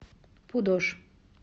пудож